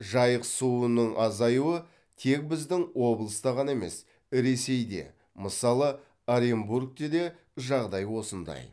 жайық суының азаюы тек біздің облыста ғана емес ресейде мысалы оренбургте де жағдай осындай